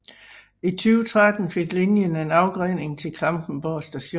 I 2013 fik linjen en afgrening til Klampenborg st